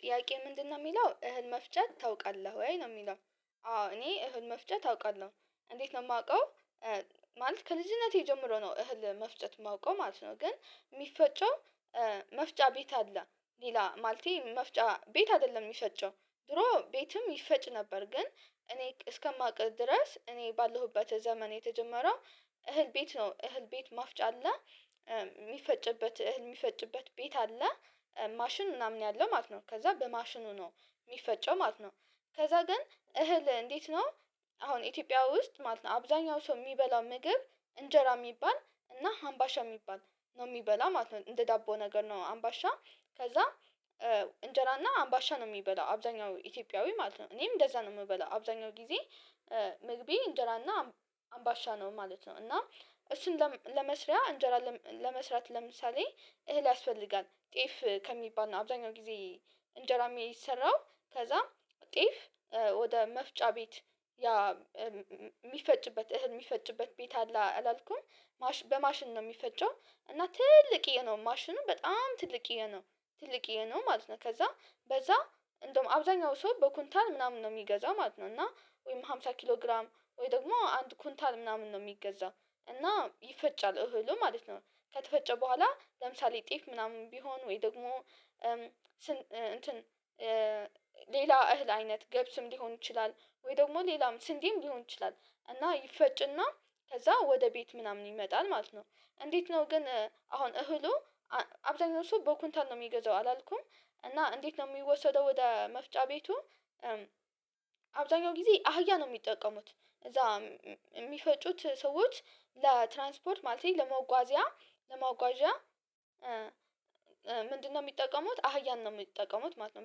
ጥያቄ ምንድነው ሚለው እህል መፍጨት ታውቃለህ ወይ ነው ሚለው? አዎ እኔ እህል መፍጨት አውቃለሁ እንዴት ነው ማውቀው። ማለት ከልጅነቴ ጀምሮ ነው እህል መፍጨት እማውቀው ማለት ነው። ግን ሚፈጨው መፍጫ ቤት አለ ሌላ ማለቴ መፍጫ ቤት አይደለም ሚፈጨው ድሮ ቤትም ይፈጭ ነበር። ግን እኔ እስከማውቅ ድረስ እኔ ባለሁበት ዘመን የተጀመረው። እህል ቤት ነው እህል ቤት ማፍጫ አለ። ሚፈጭበት እህል ሚፈጭበት ቤት አለ። ማሽን ምናምን ያለው ማለት ነው። ከዛ በማሽኑ ነው ሚፈጨው ማለት ነው። ከዛ ግን እህል እንዴት ነው? አሁን ኢትዮጵያ ውስጥ ማለት ነው አብዛኛው ሰው ሚበላው ምግብ እንጀራ ሚባል እና ሀምባሻ ሚባል ነው። ሚበላ ማለት ነው እንደ ዳቦ ነገር ነው አምባሻ። ከዛ እንጀራ እና አምባሻ ነው ሚበላው አብዛኛው ኢትዮጵያዊ ማለት ነው እኔም እንደዛ ነው ምበላው አብዛኛው ጊዜ። ምግቤ እንጀራ እና አምባሻ ነው ማለት ነው። እና እሱን ለም ለመስሪያ እንጀራ ለም ለመስራት ለምሳሌ እህል ያስፈልጋል ጤፍ ከሚባል ነው። አብዛኛው ጊዜ እንጀራ ሚሰራው ከዛም ጤፍ ወደ መፍጫ ቤት። ያ ሚፈጭበት እህል ሚፈጭበት ቤት አለ አላልኩም ማሽን በማሽን ነው ሚፈጨው። እና ትልቅዬ ነው ማሽኑም በጣም ትልቅዬ ነው። ትልቅዬ ነው ማለት ነው ከዛ በዛ እንደውም አብዛኛው ሰው በኩንታል ምናምን ነው ሚገዛው ማለት ነው። እና ወይም አምሳ ኪሎ ግራም ወይ ደግሞ አንድ ኩንታል ምናምን ነው ሚገዛው እና ይፈጫል እህሉ ማለት ነው። ከተፈጨ በኋላ ለምሳሌ ጤፍ ምናምን ቢሆን ወይ ደግሞ ስን እንትን ሌላ እህል አይነት ገብስም ሊሆን ይችላል። ወይ ደግሞ ሌላም ስንዴም ሊሆን ይችላል። እና ይፈጭ እና ከዛ ወደ ቤት ምናምን ይመጣል ማለት ነው። እንዴት ነው ግን አሁን እህሉ? አ አብዛኛው ሰው በኩንታል ነው ሚገዛው አላልኩም እና እንዴት ነው ሚወሰደው ወደ መፍጫ ቤቱ? አብዛኛው ጊዜ አህያ ነው ሚጠቀሙት እዛ ሚፈጩት ሰዎች ለትራንስፖርት ማለቴ ለመጓዚያ ለመጓዢያ። ምንድነው? ሚጠቀሙት አህያን ነው ሚጠቀሙት ማለት ነው።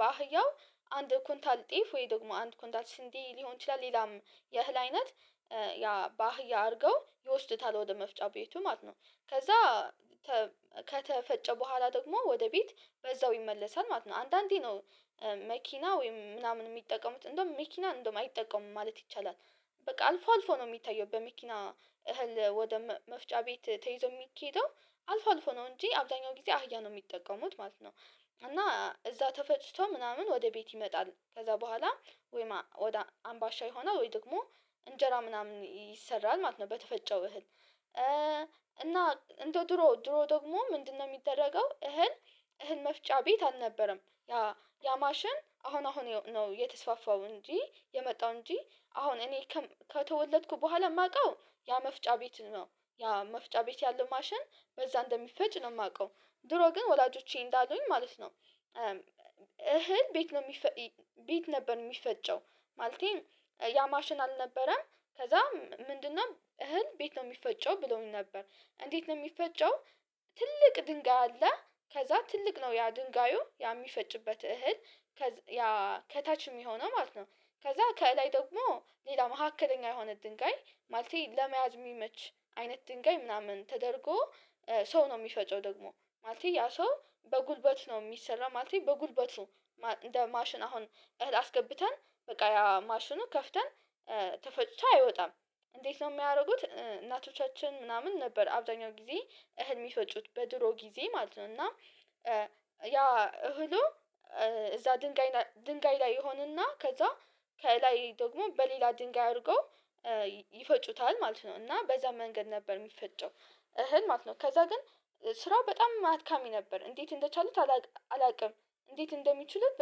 በአህያው አንድ ኩንታል ጤፍ ወይ ደግሞ አንድ ኩንታል ስንዴ ሊሆን ይችላል ሌላም የእህል አይነት። ያ በአህያ አርገው ይወስዱታል ወደ መፍጫ ቤቱ ማለት ነው። ከዛ ተ ከተፈጨ በኋላ ደግሞ ወደ ቤት በዛው ይመለሳል ማለት ነው። አንዳንዴ ነው። መኪና ወይም ምናምን ሚጠቀሙት እንደውም መኪና እንደውም አይጠቀሙም ማለት ይቻላል። በቃ አልፎ አልፎ ነው ሚታየው በመኪና እህል ወደ መ መፍጫ ቤት ተይዞ ሚኬደው አልፎ አልፎ ነው እንጂ አብዛኛው ጊዜ አህያ ነው ሚጠቀሙት ማለት ነው። እና እዛ ተፈጭቶ ምናምን ወደ ቤት ይመጣል ከዛ በኋላ ወይማ ወደ አምባሻ ይሆናል ወይ ደግሞ እንጀራ ምናምን ይሰራል ማለት ነው። በተፈጨው እህል። እና እንደ ድሮ ድሮ ደግሞ ምንድነው? ሚደረገው እህል እህል መፍጫ ቤት አልነበረም ያ ያ ማሽን አሁን አሁን የው ነው የተስፋፋው እንጂ የመጣው እንጂ አሁን እኔ ከም ከተወለድኩ በኋላ ማቀው ያ መፍጫ ቤት ነው። ያ መፍጫ ቤት ያለው ማሽን በዛ እንደሚፈጭ ነው ማቀው። ድሮ ግን ወላጆቼ እንዳሉኝ ማለት ነው። እህል ቤት ነው ሚፈ ቤት ነበር ሚፈጨው። ማለቴ ያ ማሽን አልነበረም። ከዛ ም ምንድነው እህል ቤት ነው ሚፈጨው ብለውኝ ነበር። እንዴት ነው ሚፈጨው? ትልቅ ድንጋይ አለ ከዛ ትልቅ ነው ያ ድንጋዩ ያ ሚፈጭበት እህል። ከታች ሚሆነው ማለት ነው። ከዛ ከላይ ደግሞ ሌላ መካከለኛ የሆነ ድንጋይ ማለቴ ለመያዝ ሚመች አይነት ድንጋይ ምናምን ተደርጎ ሰው ነው ሚፈጨው ደግሞ ማለቴ ያ ሰው በጉልበት ነው ሚሰራ ማለቴ በጉልበቱ። ማ እንደ ማሽን አሁን እህል አስገብተን በቃ ያ ማሽኑ ከፍተን ተፈጭቶ አይወጣም። እንዴት ነው ሚያረጉት? እናቶቻችን ምናምን ነበር አብዛኛው ጊዜ እህል ሚፈጩት በድሮ ጊዜ ማለት ነው እና። ያ እህሉ እዛ ድንጋይ ና ድንጋይ ላይ ይሆንና ከዛ ከላይ ደግሞ በሌላ ድንጋይ አርገው። ይፈጩታል ማለት ነው እና በዛ መንገድ ነበር ሚፈጨው። እህል ማለት ነው። ከዛ ግን ስራ በጣም አድካሚ ነበር እንዴት እንደቻሉት አላቅ አላቅም። እንዴት እንደሚችሉት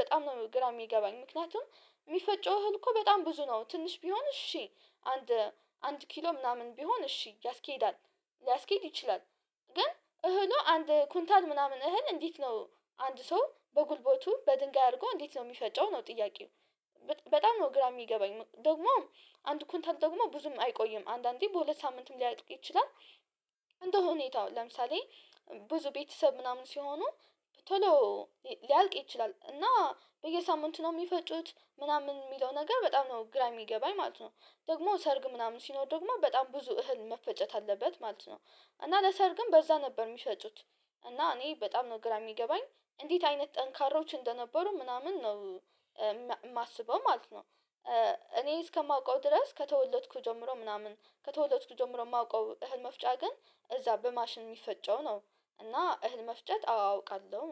በጣም ነው ግራ ሚገባኝ። ምክንያቱም ሚፈጨው እህል እኮ በጣም ብዙ ነው ትንሽ ቢሆን እሺ አንድ አንድ ኪሎ ምናምን ቢሆን እሺ ያስኬዳል። ሊያስኬድ ይችላል። ግን እህሉ አንድ ኩንታል ምናምን እህል እንዴት ነው? አንድ ሰው በጉልበቱ በድንጋይ አርጎ እንዴት ነው ሚፈጨው ነው ጥያቄው። በጣም ነው ግራ ሚገባኝ ም ደግሞም አንድ ኩንታል ደግሞ ብዙም አይቆይም አንዳንዴ በሁለት ሳምንትም ሊያልቅ ይችላል። እንደ ሁኔታው ለምሳሌ ብዙ ቤተሰብ ምናምን ሲሆኑ። ቶሎ ሊ ሊያልቅ ይችላል እና በየሳምንቱ ነው ሚፈጩት ምናምን ሚለው ነገር በጣም ነው ግራ የሚገባኝ ማለት ነው። ደግሞ ሰርግ ምናምን ሲኖር ደግሞ በጣም ብዙ እህል መፈጨት አለበት ማለት ነው። እና ለሰርግም በዛ ነበር ሚፈጩት። እና እኔ በጣም ነው ግራ ሚገባኝ እንዴት አይነት ጠንካሮች እንደነበሩ ምናምን ነው። ማ ማስበው ማለት ነው። እኔ እስከማውቀው ድረስ ከተወለድኩ ጀምሮ ምናምን ከተወለድኩ ጀምሮ ማውቀው እህል መፍጫ ግን እዛ በማሽን ሚፈጨው ነው። እና እህል መፍጨት አዎ አውቃለሁ ነው